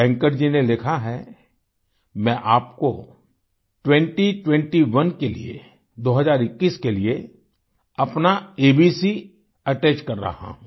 वेंकट जी ने लिखा है मैं आपको ट्वेंटी ट्वेंटी ओने के लिए दो हजार इक्कीस के लिए अपना अबकैटच कर रहा हूँ